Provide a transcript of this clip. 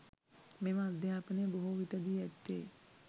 මෙම අධ්‍යාපනය බොහෝ විට දී ඇත්තේ